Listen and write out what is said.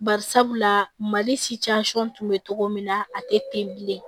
Barisabula mali tun bɛ cogo min na a tɛ ten bilen